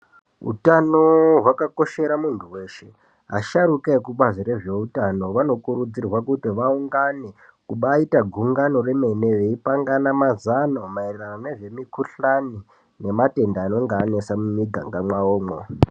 Utano hwakakoshera munthu weshe asharuka ekubazi rezveutano anokurudzirwa kuti aungane kubaiita gungano remene veipangana mazano maererano nezvemikuhlani ngematenda anenge anesa mumiganga mwawomwo.